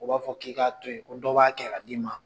O b'a fɔ k'i k'a to yen. Ko dɔ b'a kɛ k'a d'i ma.